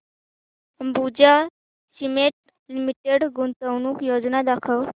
Ambuja cement limited गुंतवणूक योजना दाखव